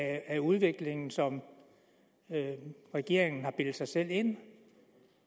af udviklingen som regeringen har bildt sig selv ind